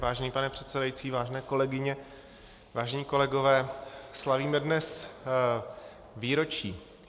Vážený pane předsedající, vážené kolegyně, vážení kolegové, slavíme dnes výročí.